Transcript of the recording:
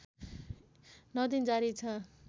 ९ दिन जारी छ